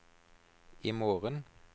imorgen